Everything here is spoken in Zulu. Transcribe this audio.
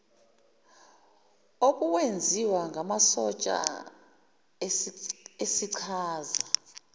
obuwenziwa ngamasotsha esichaza